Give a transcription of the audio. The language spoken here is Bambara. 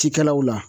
Cikɛlaw la